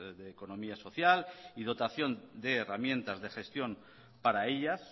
de economía social y dotación de herramientas de gestión para ellas